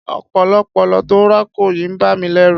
Ọ̀pọ̀lọ́pọ̀lọ́ tó ń rákò yìí ń bà mí lẹ́rù.